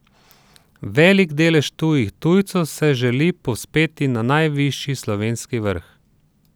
Velik delež tujih tujcev se želi povzpeti na najvišji slovenski vrh.